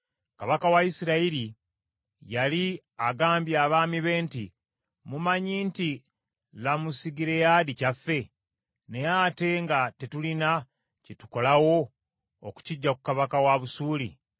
Kabaka wa Isirayiri yali agambye abaami be nti, “Mumanyi nti Lamosugireyaadi kyaffe, naye ate nga tetulina kye tukola wo okukiggya ku kabaka wa Busuuli?”